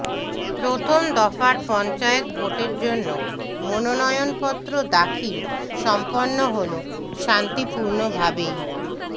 প্ৰথম দফার পঞ্চায়েত ভোটের জন্য মনোনয়নপত্ৰ দাখিল সম্পন্ন হলো শান্তিপূর্ণভাবেই